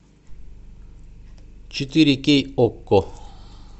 четыре кей окко